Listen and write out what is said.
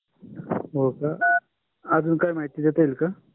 होका. अजुन काही महिती देता येइल का?